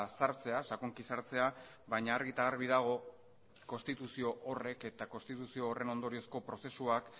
sartzea sakonki sartzea baina argi eta garbi dago konstituzio horrek eta konstituzio horren ondoriozko prozesuak